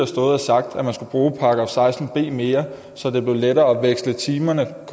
stået og sagt at man skulle bruge § seksten b mere så det blev lettere at veksle timerne og